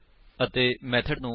ਅਤੇ ਮੇਥਡ ਨੂੰ ਓਵਰਲੋਡ ਕਰਨਾ ਕੀ ਹੈ